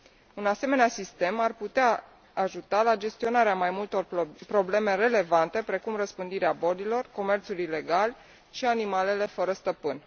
Un asemenea sistem ar putea ajuta la gestionarea mai multor probleme relevante, precum răspândirea bolilor, comerțul ilegal și animalele fără stăpân.